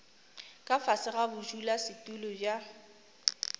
ka fase ga bodulasetulo bja